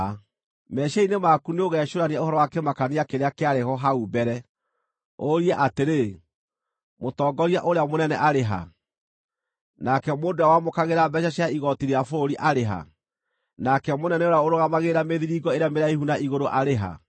Meciiria-inĩ maku nĩũgecũrania ũhoro wa kĩmakania kĩrĩa kĩarĩ ho hau mbere, ũrie atĩrĩ: “Mũtongoria ũrĩa mũnene arĩ ha? Nake mũndũ ũrĩa wamũkagĩra mbeeca cia igooti rĩa bũrũri arĩ ha? Nake mũnene ũrĩa ũrũgamagĩrĩra mĩthiringo ĩrĩa mĩraihu na igũrũ arĩ ha?”